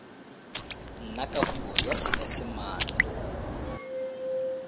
nna ka puo ya seesimane